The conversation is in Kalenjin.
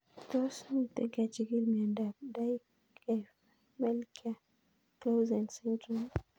Tos mito kechigil miondop Dyggve Melchior Clausen syndrome.